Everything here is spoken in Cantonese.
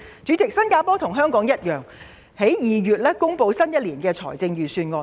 主席，新加坡與香港一樣，在2月公布了新一年的預算案。